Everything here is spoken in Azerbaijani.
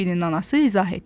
Bembinin anası izah etdi.